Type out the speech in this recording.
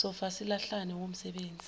sofa silahlane womsebenzi